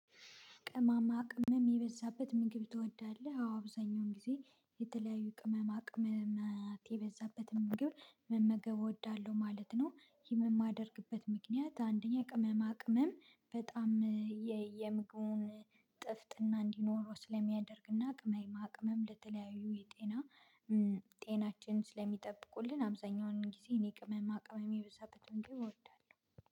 ቅመማ ቅመም የበዛበት ምግብ ትወዳለህ? አዎ አብዛኛውን ጊዜ የተለያዩ ቅመማ ቅመማት የበዛበትን ምግብ መመገብ እወዳለሁ ማለት ነው። ይህም የማደርግበት ምክንያት አንደኛ ቅመማ ቅመም በጣም የምግቡን ጥፍጥና እንዲኖረው ስለሚያደርግና ቅመማ ቅመም ለተለያዩ የጤና ጤናችን ስለሚጠብቁልን አብዛኛውን ጊዜ እኔ ቅመማ ቅመም የበዛበትን ምግብ እወዳለሁ